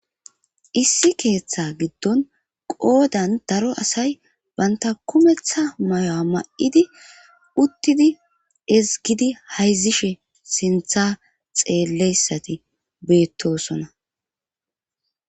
issi keeththa giddon qoodan daro asay banta kumeththa may7o7a ma7idi uttidi ezgidi hayzishe sintha xeelleyssati beettosona